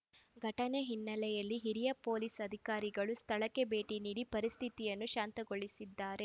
ಘಟನೆ ಹಿನ್ನೆಲೆಯಲ್ಲಿ ಹಿರಿಯ ಪೊಲೀಸ್‌ ಅಧಿಕಾರಿಗಳು ಸ್ಥಳಕ್ಕೆ ಭೇಟಿ ನೀಡಿ ಪರಿಸ್ಥಿತಿಯನ್ನು ಶಾಂತಗೊಳಿಸಿದ್ದಾರೆ